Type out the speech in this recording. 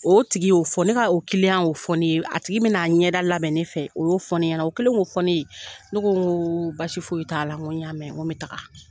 O tigi yo fɔ ,ne ka o kiliyan y'o fɔ ne ye. A tigi be na a ɲɛda labɛn ne fɛ ,o y'o fɔ ɲɛna. o kɛlen ko fɔ ne ye ne ko n go basi foyi n go ya mɛn n go n bɛ taga.